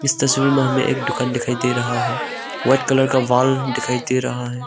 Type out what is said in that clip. इस तस्वीर में हमें एक दुकान दिखाई दे रहा है व्हाइट कलर का वॉल दिखाई दे रहा है।